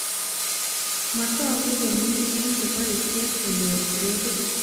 Matoku komi eng cheboishe konyoru gradit